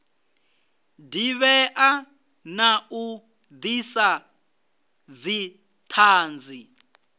divhea na u disa dzithanzi